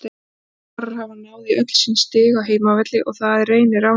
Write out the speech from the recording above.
Framarar hafa náð í öll sín stig á heimavelli og það er Reynir ánægður með.